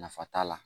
Nafa t'a la